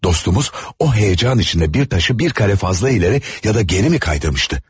Dostumuz o həyəcan içində bir daşı bir kare fazla irəli ya da geri mi kaydırmışdı?